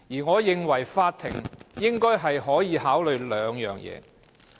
我認為法院應該考慮以下兩點。